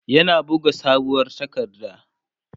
yana buga sabuwar takarda